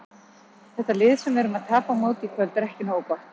Þetta lið sem við erum að tapa á móti í kvöld er ekki nógu gott.